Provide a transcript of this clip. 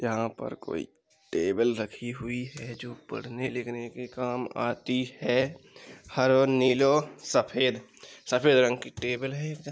यहाँ पर कोई टेबिल रखी हुई है जो पढ़ने लिखने के काम आती है। हरो नीलो सफेद सफेद रंग की टेबिल है।